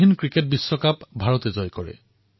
এইবাৰ এছিয়ান গেমছত ভাৰত বৃহৎ সংখ্যাত পদক জয় কৰিলে